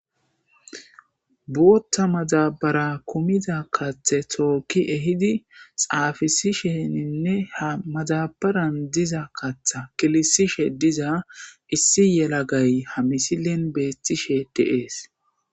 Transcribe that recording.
bootha madabara kumiza kaththe tooki ehidi xaafisi sheninne ha maxabaran diza katha kilisishe diza issi yelagay ha misilin beettishe deees